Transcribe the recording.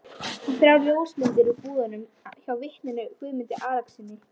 Persar Jerúsalem og námu þennan helgasta dóm borgarinnar á brott.